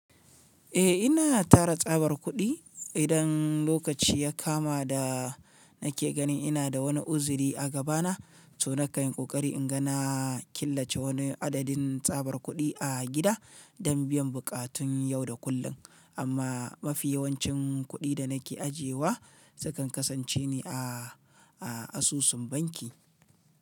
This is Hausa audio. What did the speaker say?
Eh ina tara tsabar kuɗi idan lokaci ya kama da nake ganin ina da wani uziri a gabana, to na kai ƙoƙari inga na killace wani adadin tsabar kuɗi a gida don biyan buƙatun yau da kullum. Amma mafi yawancin kuɗi da nake ajiyewa sukan kasance ne a, a asusun banki.